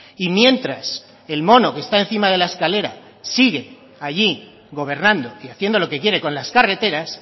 y mientras el mono que está encima de la escalera sigue allí gobernando y haciendo lo que quiere con las carreteras